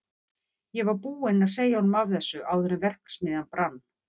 Ég var búinn að segja honum af þessu áður en verksmiðjan brann.